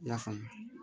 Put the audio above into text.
I y'a faamu